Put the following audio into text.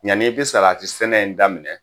Yanni i bɛ saratisɛnɛ in daminɛ